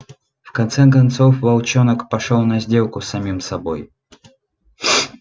в конце концов волчонок пошёл на сделку с самим собой